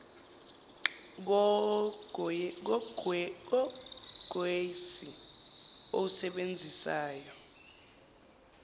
kwh yogesi owusebenzisayo